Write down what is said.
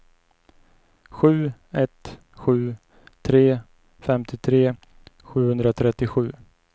sju ett sju tre femtiotre sjuhundratrettiosju